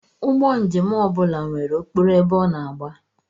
Ụgbọ njem ọ bụla nwere okporo ebe ọ na-agba